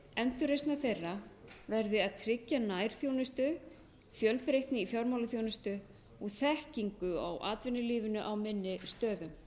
endurreisnar þeirra verði að tryggja nærþjónustu fjölbreytni í fjármálaþjónustu og þekkingu á atvinnulífinu á minni stöðum